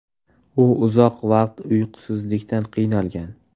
U uzoq vaqt uyqusizlikdan qiynalgan.